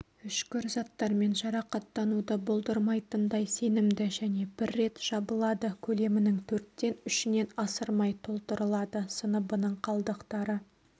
үшкір заттармен жарақаттануды болдырмайтындай сенімді және бір рет жабылады көлемінің төрттен үшінен асырмай толтырылады сыныбының қалдықтары